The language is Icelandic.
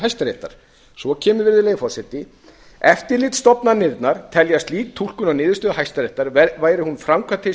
hæstaréttar svo kemur eftirlitsstofnanir telja að slík túlkun á niðurstöðu hæstaréttar væri hún framkvæmd til hins